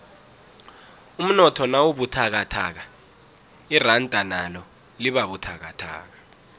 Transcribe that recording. umnotho nawubuthakathaka iranda nalo libabuthakathaka